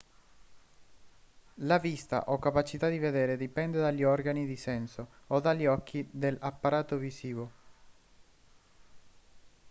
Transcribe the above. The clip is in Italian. la vista o capacità di vedere dipende dagli organi di senso o dagli occhi dell'apparato visivo